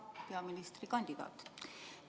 Hea peaministrikandidaat!